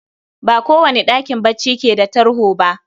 Ba kowane ɗakin bacci keda tarho bah